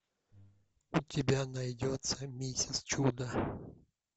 у тебя найдется миссис чудо